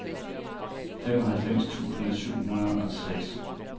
femoghalvfems tusind syv hundrede og seks